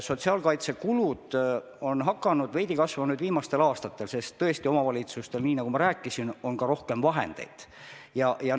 Sotsiaalkaitsekulud on hakanud nüüd viimastel aastatel veidi kasvama, sest omavalitsustel, nagu ma rääkisin, on tõesti vahendeid rohkem.